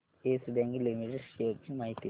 yes Bank Limited shares ची माहिती दे